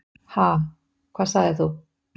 Ha, hvað sagðir þú?